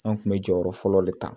An kun bɛ jɔyɔrɔ fɔlɔ de ta